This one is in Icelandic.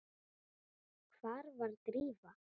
Hvar var Drífa?